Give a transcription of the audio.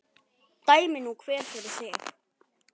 Dæmi nú hver fyrir sig.